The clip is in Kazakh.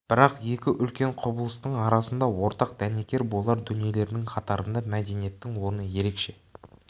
бірақ екі үлкен құбылыстың арасында ортақ дәнекер болар дүниелердің қатарында мәдениеттің орны ерекше